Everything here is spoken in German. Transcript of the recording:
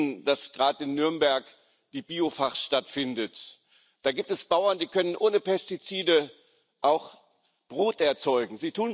Sie wissen, dass gerade in Nürnberg die Biofach stattfindet. Da gibt es Bauern, die können auch ohne Pestizide Brot erzeugen.